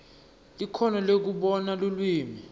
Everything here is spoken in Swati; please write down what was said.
likhono lekubona lulwimi